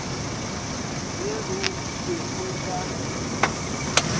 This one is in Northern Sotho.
ge go be go ka